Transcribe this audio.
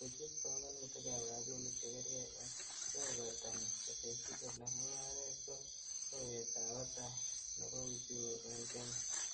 koyut pongonutik ab rabinik chegergei en kebebertanyin, kotesyi kole mungaret ko kowet ab batai nebo uchumi en kenya.